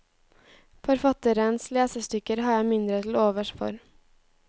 Forfatterens lesestykker har jeg mindre til overs for.